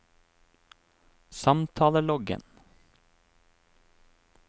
samtaleloggen